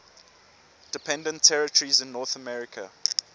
dependent territories in north america